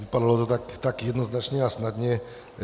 Vypadalo to tak jednoznačně a snadně.